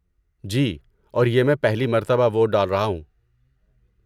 جی، اور یہ میں پہلی مرتبہ ووٹ ڈال رہا ہوں۔